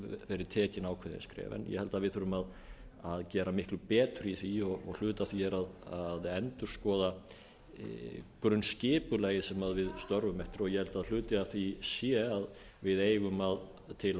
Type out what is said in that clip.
verið tekin ákveðin skref ég held að við þurfum að gera miklu betur í því og hluti af því er að endurskoða grunnskipulagið sem við störfum eftir og ég held að hluti af því sé að við eigum til